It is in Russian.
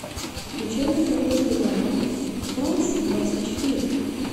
включай на тв телеканал франс двадцать четыре